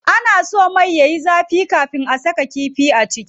Ana so mai sai yayi zafi kafin a saka kifi a ciki.